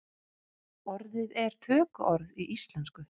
Orðið er tökuorð í íslensku.